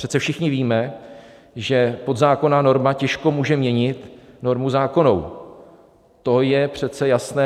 Přece všichni víme, že podzákonná norma těžko může měnit normu zákonnou, to je přece jasné.